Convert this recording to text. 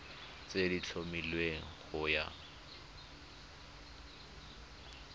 tse di tlhomilweng go ya